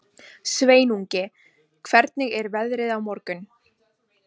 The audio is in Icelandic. Sveinungi, hvernig er veðrið á morgun?